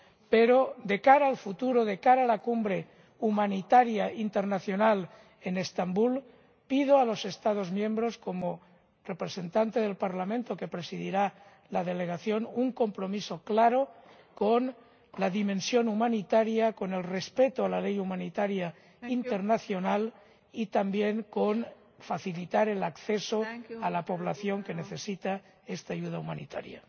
Pero, de cara al futuro, de cara a la Cumbre Humanitaria Mundial en Estambul, pido a los Estados miembros, como representante del Parlamento que presidirá la delegación, un compromiso claro con la dimensión humanitaria, con el respeto de la ley humanitaria internacional y también con la facilitación del acceso a la población que necesita esta ayuda humanitaria.